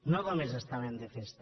no només estaven de festa